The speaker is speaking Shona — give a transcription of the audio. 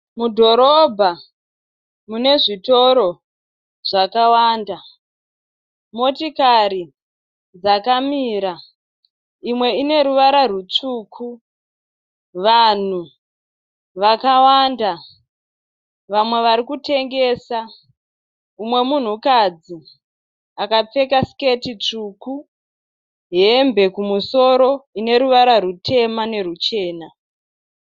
Mudhorobha munezvitoro zvakawanda. Motikari dzakamira. Imwe ine ruvara rutsvuku. Vanhu vakawanda vamwe vari kutengesa. Umwe munhukadzi akapfeka siketi tsvuku hembe kumusoro ine ruvara rutema neruchena.